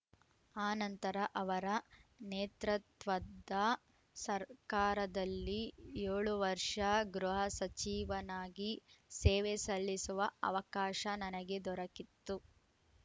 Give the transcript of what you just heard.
ಆ ನಂತರ ಅವರ ನೇತೃತ್ವದ ಸರ್ಕಾರದಲ್ಲಿ ಏಳು ವರ್ಷ ಗೃಹ ಸಚಿವನಾಗಿ ಸೇವೆ ಸಲ್ಲಿಸುವ ಅವಕಾಶ ನನಗೆ ದೊರಕ್ಕಿತ್ತು